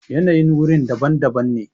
yanayin wuri daban daban ne